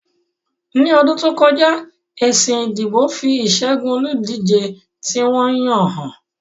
Ní ọdún tó kọjá, èsì ìdìbò fi ìṣẹ́gun olùdíje tí wọ́n yàn hàn